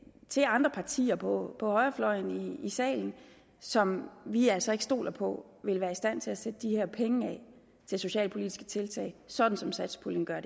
til andre partier på på højrefløjen i salen som vi altså ikke stoler på vil være i stand til at sætte de her penge af til socialpolitiske tiltag sådan som satspuljen gør